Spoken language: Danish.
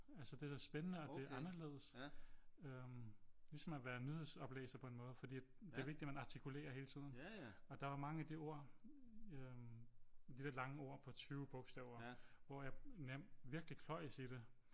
Altså det er da spændende og det er anderledes øh ligesom at være nyhedsoplæser på en måde fordi at det er vigtigt man artikulerer hele tiden og der er mange af de ord øh de lidt lange ord på 20 bogstaver hvor jeg virkelig kløjes i det